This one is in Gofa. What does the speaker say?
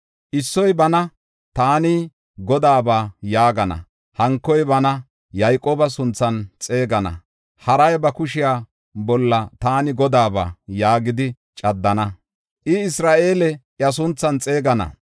Issoy bana, taani Godaaba yaagana; hankoy bana Yayqooba sunthan xeegana; haray ba kushiya bolla, “Taani Godaaba” yaagidi caddana; I Isra7eele iya sunthan xeegetana.